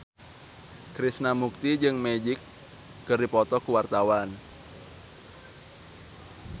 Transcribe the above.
Krishna Mukti jeung Magic keur dipoto ku wartawan